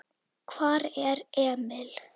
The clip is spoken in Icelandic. Hvar er Emil?